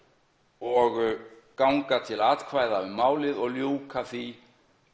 og ganga til atkvæða um málið og ljúka því